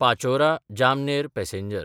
पाचोरा–जामनेर passenger